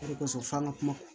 O de kosɔn f'an ka kuma